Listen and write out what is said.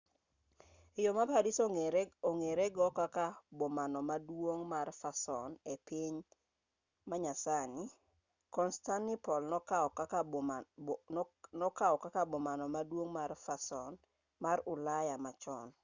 e yo ma paris ong'ere go kaka bomano maduong' mar fason e piny manyasani constantinople nokaw kaka bomano maduong' mar fason mar ulaya machon